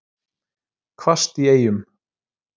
Hvasst í Eyjum